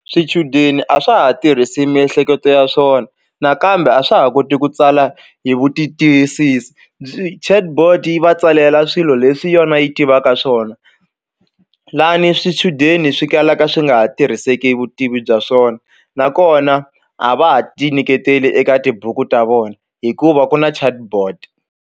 Swichudeni a swa ha tirhisi miehleketo ya swona nakambe a swa ha koti ku tsala hi vu ti tiyisisi byi Chatbot yi va tsalela swilo leswi yona yi tivaka swona lani swichudeni swi kalaka swi nga ha tirhiseki vutivi bya swona nakona a va ha ti nyiketeli eka tibuku ta vona hikuva ku na Chatbot.